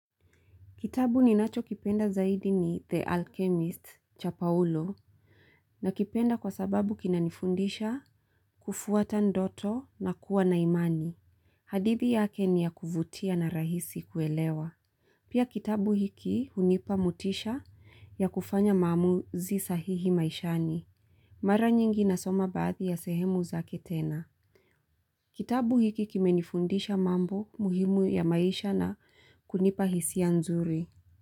Kitabu ninacho kipenda zaidi ni The Alchemist cha Paulo nakipenda kwa sababu kina nifundisha kufuata ndoto na kuwa na imani. Hadithi yake ni ya kuvutia na rahisi kuelewa. Pia kitabu hiki hunipa motisha ya kufanya mamuzi sahihi maishani. Mara nyingi nasoma baadhi ya sehemu zake tena. Kitabu hiki kimenifundisha mambo muhimu ya maisha na kunipa hisi ya nzuri.